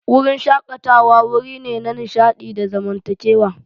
Wurin shakatawa wuri ne na nishaɗi da zamantakewa.